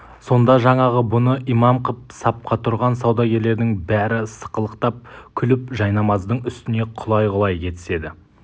сонда жаңағы бұны имам қып сапқа тұрған саудагерлердің бәрі сықылықтап күліп жайнамаздың үстіне құлай-құлай кетіседі